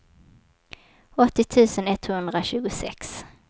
åttio tusen etthundratjugosex